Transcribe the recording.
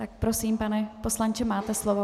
Tak prosím, pane poslanče, máte slovo.